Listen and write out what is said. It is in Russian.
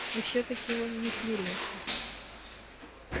и всё-таки он не смирился